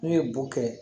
N'u ye bo kɛ